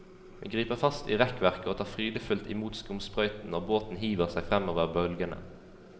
Vi griper fast i rekkverket og tar frydefullt imot skumsprøyten når båten hiver seg fremover bølgene.